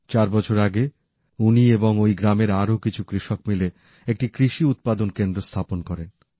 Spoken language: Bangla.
চার বছর আগে উনি এবং ওই গ্রামের আরো কিছু কৃষক মিলে একটি কৃষি উৎপাদন কেন্দ্র স্থাপন করেন